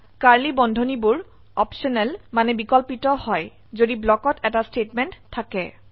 curly ধনুৰ্বন্ধনীবোৰ optional মানে বিকল্পিত হয় যদি ব্লকত এটা স্টেটমেন্ট থাকে